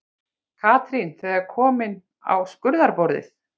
Katrín þegar komin á skurðarborðið.